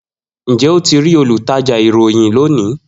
Njẹ o ti rii olutaja irohin loni?